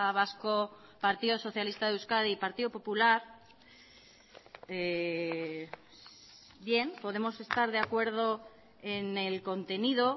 vasco partido socialista de euskadi y partido popular bien podemos estar de acuerdo en el contenido